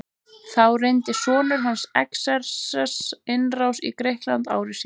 Þá reyndi sonur hans Xerxes innrás í Grikkland ári síðar.